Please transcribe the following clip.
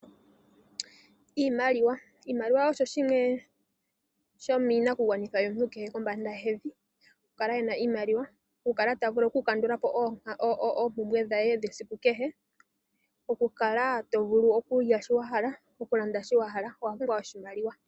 Iimaliwa osho shimwe shomiinakugwanithwa yomuntu kehe kombanda yevi okukala yena iimaliwa, okukala ta vulu okukandula po oompumbwe dhaye dhesiku kehe. Okukala to vulu okulya shoka wa hala, okulanda shoka wa hala owa pumbwa oshimaliwa.